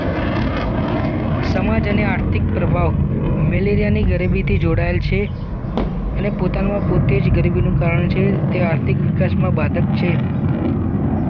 સમાજ અને આર્થિક પ્રભાવ મેલેરિયાની ગરીબીથી જોડાયેલ છે અને પોતાનામાં પોતે જ ગરીબીનું કારણ છે તે આર્થિક વિકાસમાં બાધક છે